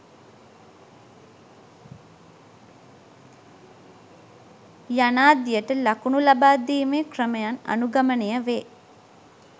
යනාදියට ලකුණු ලබාදීමේ ක්‍රමයන් අනුගමනය වේ.